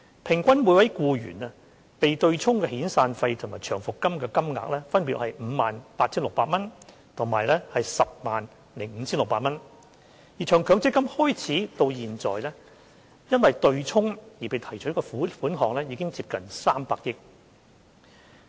平均每名僱員被對沖的遣散費和長期服務金金額，分別為 58,600 元及 105,600 元；而從強積金計劃實施以來，因對沖而被提取的款額已接近300億元。